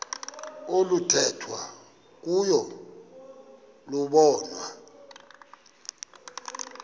oluthethwa kuyo lobonwa